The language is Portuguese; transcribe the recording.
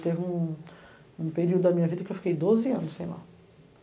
Teve um um período da minha vida que eu fiquei doze anos sem ir lá.